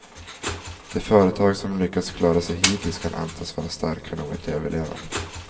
De företag som lyckats klara sig hittills kan antas vara starka nog att överleva.